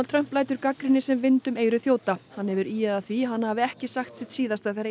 Trump lætur gagnrýni sem vind um eyru þjóta hann hefur ýjað að því að hann hafi ekki sagt sitt síðasta þegar